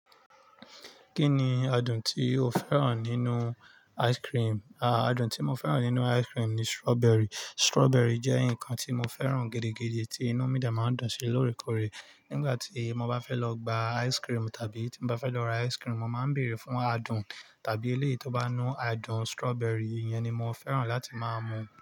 Kí ni adùn tí o fẹ́ràn nínú ice cream? Adùn tí mo fẹ́ràn nínú ice cream ni strawberry. Strawberry jẹ́ nkan tí mo fẹ́ràn gidi gidi tí inú de má ń dùn sí lóòrèkòòrè. Nígbà tí mo bá fẹ́ lọ gba ice cream tàbí tí mo bá fẹ́ lọ ra ice cream, mo má ń bèèrè fún adùn tàbí eléyìí tó bá mú adùn strawberry, ìyẹn ni mo fẹ́ràn láti máa mú.